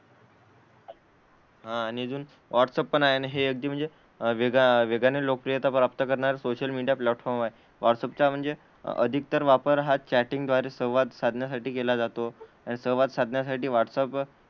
हां आणि अजून व्हाट्सअप पण आहे आणि हे अगदी म्हणजे वेगा वेगाने लोकप्रियता प्राप्त करणारे सोशल मीडिया प्लॅटफॉर्म आहे. व्हाट्सअप चा म्हणजे अधिक तर वापर हा चॅटिंग द्वारे संवाद साधण्यासाठीच केला जातो. आणि संवाद साधण्यासाठी व्हाट्सअप,